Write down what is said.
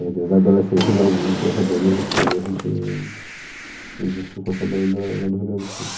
Mas desde a adolescência de alguns essa banda existiu e a gente existiu com essa banda lá no Rio Grande do Sul.